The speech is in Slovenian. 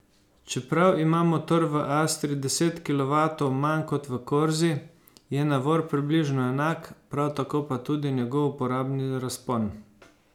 Čeprav ima motor v astri deset kilovatov manj kot v corsi, je navor približno enak, prav tako pa tudi njegov uporabni razpon.